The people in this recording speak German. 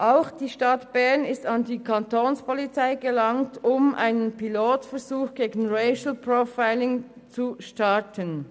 Auch die Stadt Bern ist an die Kapo gelangt, um einen Pilotversuch gegen Racial Profiling zu starten.